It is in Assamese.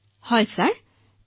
হয় ছাৰ হয়